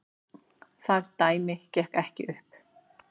Það dæmi gekk ekki upp.